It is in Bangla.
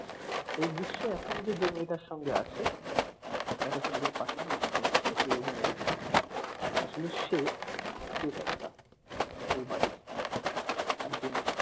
সেই দৃশ্যে এখন যে মেয়েটার সঙ্গে আছে যাকে সে নিজের partner মনে করছে এই অভিনয়ের আসলে সে প্রেতাত্মা ওই বাড়িরআরেকজন